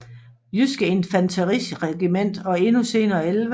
Jydske Infanteriregiment og endnu senere 11